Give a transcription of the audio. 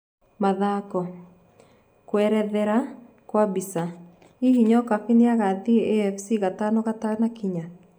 (Mathako)Kuerethera kwa mbica,,Hihi Nyokabi nĩagathie AFC Gatano gatanakinya?